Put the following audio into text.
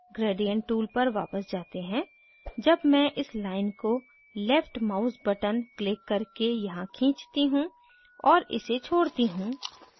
gradient tool पर वापस जाते हैं जब मैं इस line को left mouse button क्लिक करके यहाँ खींचती हूँ और इसे छोड़ती हूँ